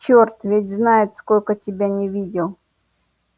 черт ведь знает сколько тебя не видел